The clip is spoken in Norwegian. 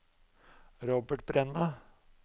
Robert Brenna